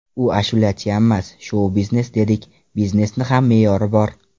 U ashulachiyammas, shou - biznes dedik, biznesni ham me’yori bor.